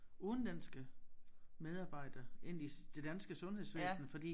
Udenlandske medarbejdere ind i det danske sundhedsvæsen fordi